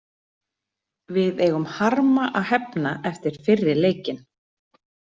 Við eigum harma að hefna eftir fyrri leikinn.